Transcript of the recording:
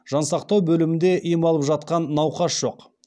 жансақтау бөлімінде ем алып жатқан науқас жоқ